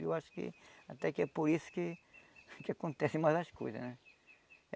Eu acho que até que é por isso que que acontece mais as coisas, né?